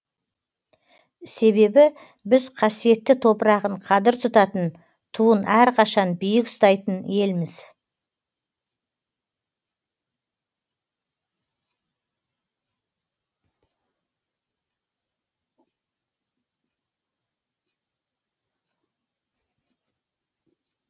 себебі біз қасиетті топырағын қадір тұтатын туын әрқашан биік ұстайтын елміз